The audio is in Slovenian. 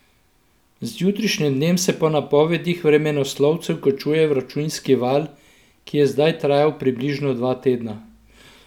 Z jutrišnjim dnem se po napovedih vremenoslovcev končuje vročinski val, ki je zdaj trajal približno dva tedna.